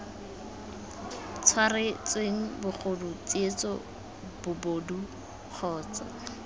tshwaretsweng bogodu tsietso bobodu kgotsa